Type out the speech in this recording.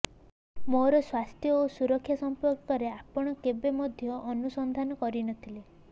ମୋର ସ୍ୱାସ୍ଥ୍ୟ ଓ ସୁରକ୍ଷା ସଂପର୍କରେ ଆପଣ କେବେ ମଧ୍ୟ ଅନୁସନ୍ଧାନ କରିନଥିଲେ